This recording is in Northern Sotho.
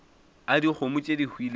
a dikgomo tše di hwilego